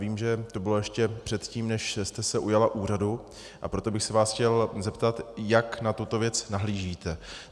Vím, že to bylo ještě předtím, než jste se ujala úřadu, a proto bych se vás chtěl zeptat, jak na tuto věc nahlížíte.